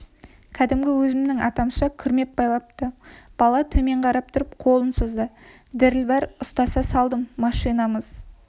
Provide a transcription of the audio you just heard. кәдімгі өзімнің атамша күрмеп байлапты бала төмен қарап тұрып қолын созды діріл бар ұстата салдым машинамыз